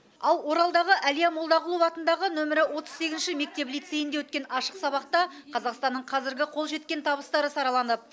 ал оралдағы әлия молдағұлова атындағы нөмірі отыз сегізінші мектеп лицейінде өткен ашық сабақта қазақстанның қазіргі қол жеткен табыстары сараланып